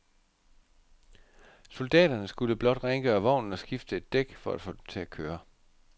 Soldaterne skulle blot rengøre vognen og skifte et dæk for at få den til at køre.